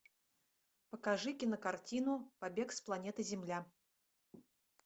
покажи кинокартину побег с планеты земля